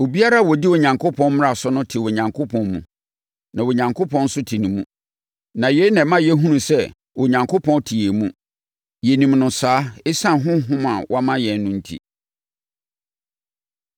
Obiara a ɔdi Onyankopɔn mmara so no te Onyankopɔn mu na Onyankopɔn nso te ne mu. Na yei na ɛma yɛhunu sɛ Onyankopɔn te yɛn mu. Yɛnim no saa ɛsiane Honhom a wama yɛn no enti.